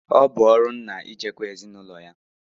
Ọ bụ ọrụ ńnà ichekwa ezinụlọ ya.